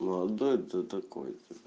да это такое